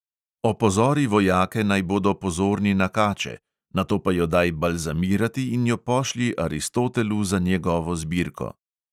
Opozori vojake, naj bodo pozorni na kače, nato pa jo daj balzamirati in jo pošlji aristotelu za njegovo zbirko.